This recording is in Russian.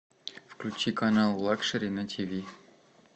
включи канал лакшери на тиви